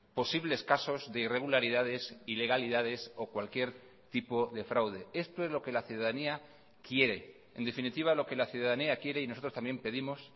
posibles casos de irregularidades ilegalidades o cualquier tipo de fraude esto es lo que la ciudadanía quiere en definitiva lo que la ciudadanía quiere y nosotros también pedimos